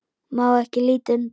Ég má ekki líta undan.